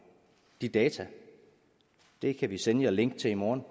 de data og det kan vi sende jer link til i morgen